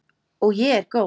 Og ég er góð.